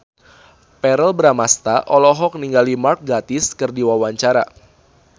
Verrell Bramastra olohok ningali Mark Gatiss keur diwawancara